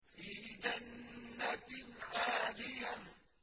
فِي جَنَّةٍ عَالِيَةٍ